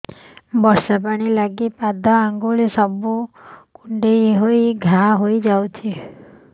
ବର୍ଷା ପାଣି ଲାଗି ପାଦ ଅଙ୍ଗୁଳି ସବୁ କୁଣ୍ଡେଇ ହେଇ ଘା ହୋଇଯାଉଛି